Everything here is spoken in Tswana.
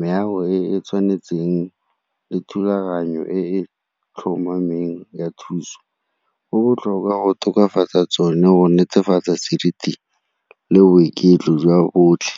meago e e tshwanetseng le thulaganyo e tlhomameng ya thuso. Go botlhokwa go tokafatsa tsone go netefatsa seriti le boiketlo jwa botlhe.